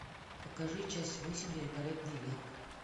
покажи часть восемь великолепный век